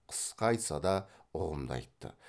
қысқа айтса да ұғымды айтты